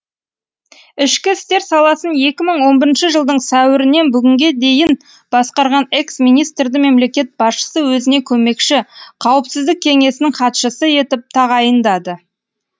ішкі істер саласын екі мың он бірінші жылдың сәуірінен бүгінге дейін басқарған экс министрді мемлекет басшысы өзіне көмекші қауіпсіздік кеңесінің хатшысы етіп тағайындады